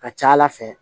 Ka ca ala fɛ